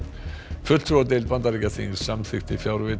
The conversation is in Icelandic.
fulltrúadeild Bandaríkjaþings samþykkti fjárveitingu